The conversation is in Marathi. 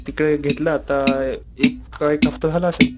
तिथे घेतलाय आता अ एक का एक हफ्ता झाला असेल.